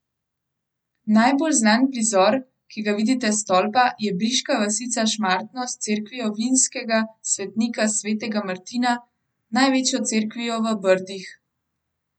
Najbolj znan prizor, ki ga vidite s stolpa, je briška vasica Šmartno s cerkvijo vinskega svetnika svetega Martina, največjo cerkvijo v Brdih.